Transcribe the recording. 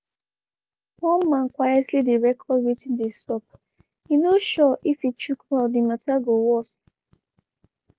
one man quietly dey record wetin dey sup e no sure if e chook mouth di matta go worse.